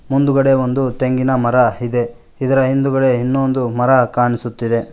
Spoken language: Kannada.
ಮುಂದುಗಡೆ ಒಂದು ತೆಂಗಿನ ಮರ ಇದೆ ಇದರ ಹಿಂದುಗಡೆ ಇನ್ನೊಂದು ಮರ ಕಾಣಿಸುತ್ತಿದೆ.